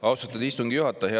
Austatud istungi juhataja!